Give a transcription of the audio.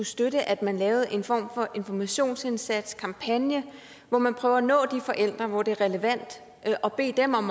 støtte at man laver en form for informationsindsats eller kampagne hvor man prøver at nå de forældre hvor det er relevant og beder dem om